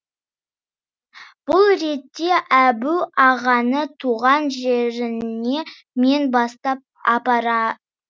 бұл ретте әбу ағаны туған жеріне мен бастап апарам